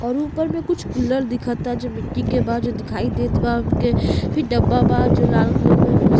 और ऊपर मे कुछ कूलर दिखता जो मिट्टी के बा जो दिखायी देत बा हमके फिर डब्बा बा जो लाल कलर के बा। कुछ --